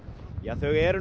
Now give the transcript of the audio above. þau eru